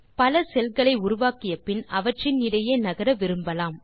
பல செல் களை உருவாக்கிய பின் அவற்றின் இடையே நகர விரும்பலாம்